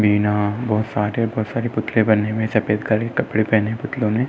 बहोत सारे पुतले बने हुए हैं। सफेद कलर के कपड़े पहने हैं पुतलों ने।